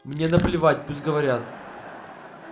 мне наплевать пусть говорят